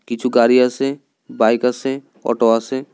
কিছু গাড়ি আসে বাইক আসে অটো আসে।